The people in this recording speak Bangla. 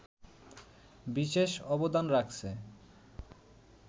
বিশেষ অবদান রাখছে